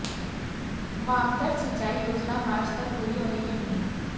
वामतट सिंचाई योजना मार्च तक पूरी होने की उम्मीद